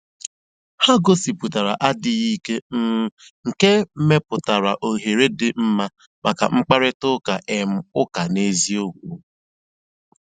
Ha gòsíputàra àdì́ghị́ ìké, um nkè mepùtàra òhèrè dị́ mma maka mkpáịrịtà um ụ́ka n'ézìòkwù.